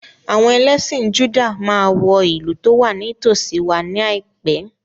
Àwọn ẹlẹ́sìn Júdà máa wọ ìlú tó wà ní tòsíi wa ní àìpé.